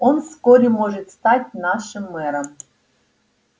он вскоре может стать нашим мэром